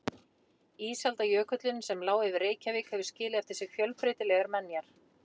Ísaldarjökullinn sem lá yfir Reykjavík hefur skilið eftir sig fjölbreytilegar menjar.